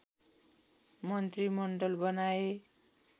मन्त्रीमण्डल बनाए